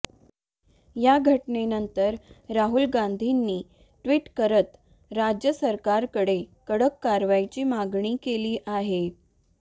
या घटनेनंतर राहुल गांधींनी ट्विट करत राज्य सरकारकडे कडक कारवाईची मागणी केली आहे